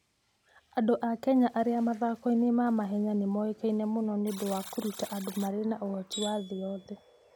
Andũ a Kenya arĩa mathako-inĩ ma mahenya nĩ moĩkaine mũno nĩ ũndũ wa kũruta andũ marĩ na ũhoti wa thĩ yothe.